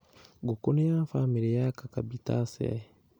Ngũkũ nĩ ya famĩlĩ ya cucurbitaceae